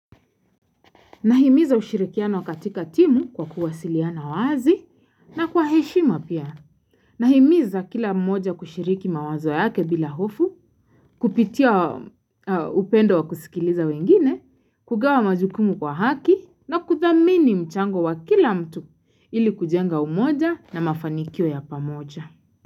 Nahimiza ushirikiano katika timu kwa kuwasiliana wazi na kwa heshima pia. Nahimiza kila mmoja kushiriki mawazo yake bila hofu, kupitia upendo wa kusikiliza wengine, kugawa majukumu kwa haki na kuthamini mchango wa kila mtu ili kujenga umoja na mafanikio ya pamoja.